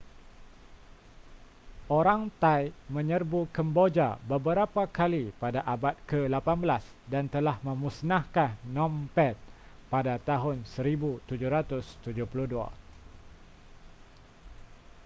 orang thai menyerbu kemboja beberapa kali pada abad ke-18 dan telah memusnahkan phnom penh pada tahun 1772